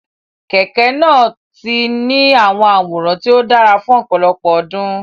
Kẹ̀kẹ́ náà ti ní àwòrán tó dára fún ọ̀pọ̀lọpọ̀ ọdún.